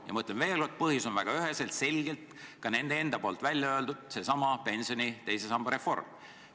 Ma ütlen veel kord: põhjus on väga üheselt ja selgelt – ka nad ise on selle välja öelnud – seesama pensioni teise samba reform.